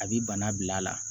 A bi bana bila a la